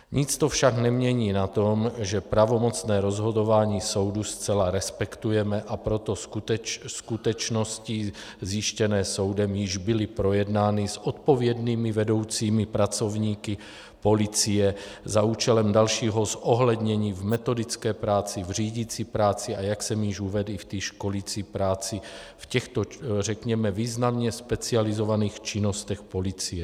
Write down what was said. Nic to však nemění na tom, že pravomocné rozhodování soudu zcela respektujeme, a proto skutečnosti zjištěné soudem již byly projednány s odpovědnými vedoucími pracovníky policie za účelem dalšího zohlednění v metodické práci, v řídicí práci, a jak jsem již uvedl, i v té školicí práci, v těchto řekněme významně specializovaných činnostech policie.